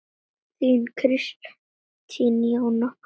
Þín Kristín Jóna.